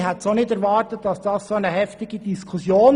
Ich hätte nicht erwartet, dass diese so heftig wird.